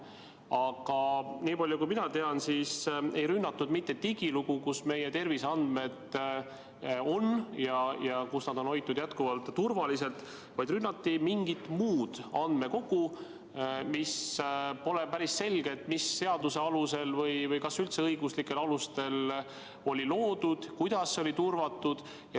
Aga niipalju kui mina tean, siis ei rünnatud mitte digilugu, kus meie terviseandmed on ja kus nad on jätkuvalt turvaliselt hoitud, vaid rünnati mingit muud andmekogu, mille suhtes pole päris selge, mis seaduse alusel see oli loodud ja kas üldse õiguslikel alustel ning kuidas see oli turvatud.